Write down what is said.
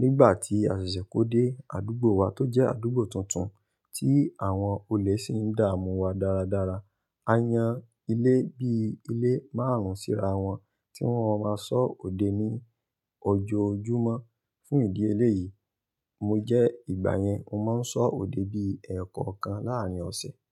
nígbà tí à sèsè kó dé àdúgbò wa tó jẹ́ àdúgbò tuntun tí àwọn olè sì ń dààmú wa dáradára. A yan ilé bíi ilé márùn ún síra wọn tí wọ́n má máa sọ òde ní ojoojúmọ́. Fún ìdí eléyìí, mo jẹ́ ìgbà yẹn mo máa ń sọ òde bí ẹ̀ẹ̀kọ̀kan láàárín ọ̀sẹ̀